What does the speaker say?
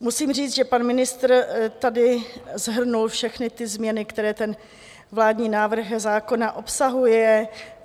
Musím říct, že pan ministr tady shrnul všechny ty změny, které ten vládní návrh zákona obsahuje.